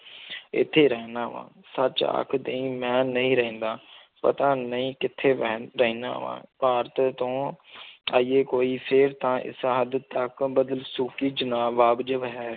ਇੱਥੇ ਰਹਿਨਾ ਵਾਂ, ਸੱਚ ਆਖ ਦੇਈਂ ਮੈਂ ਨਹੀਂ ਰਹਿੰਦਾ ਪਤਾ ਨਹੀਂ ਕਿੱਥੇ ਮੈਂ ਰਹਿਨਾ ਵਾਂ ਭਾਰਤ ਤੋਂ ਆਈਏ ਕੋਈ ਫਿਰ ਤਾਂ ਇਸ ਹੱਦ ਤੱਕ ਬਦਸਲੂਕੀ ਚ ਨਾ ਵਾਜਬ ਹੈ।